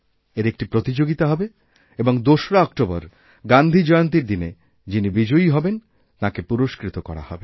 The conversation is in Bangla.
এর একটি প্রতিযোগিতা হবে এবং ২রা অক্টোবর গান্ধী জয়ন্তীর দিনে যিনি বিজয়ীহবেন তাঁকে পুরষ্কৃত করা হবে